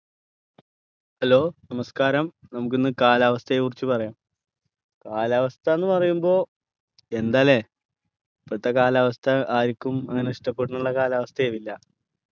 hello നമസ്ക്കാരം നമുക്ക് ഇന്ന് കാലാവസ്ഥയെക്കുറിച്ച് പറയാം കാലാവസ്ഥ എന്നുപറയുമ്പോ എന്താലേ ഇപ്പോഴത്തെ കാലാവസ്ഥ ആരിക്കും അങ്ങനെ ഇഷ്ടപെടുന്നുള്ള കാലാവസ്ഥയാവില്ല